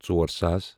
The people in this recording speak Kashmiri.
ژور ساس